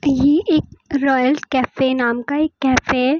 ये एक royal cafe नाम का एक कैफे है।